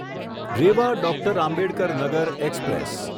Rewa doctor Ambedkar Nagar express